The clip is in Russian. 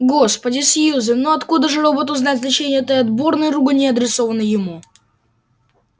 господи сьюзен ну откуда же роботу знать значение этой отборной ругани адресованной ему